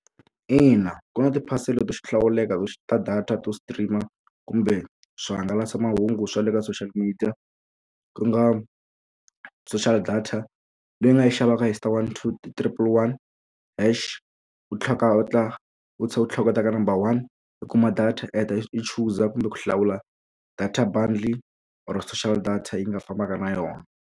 Ina ku na tiphasela to hlawuleka ta data to stream-a kumbe swihangalasamahungu swa le ka social media ku nga social data leyi nga yi xavaka hi star one two triple one hash u tlhela u ta u tlhela u hleketa ka number one i kuma data art i chuza kumbe ku hlawula data bundle or social data yi nga fambaka na yona.